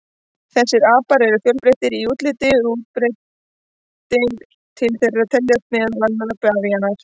Þessir apar eru fjölbreyttir í útliti og útbreiddir, til þeirra teljast meðal annarra bavíanar.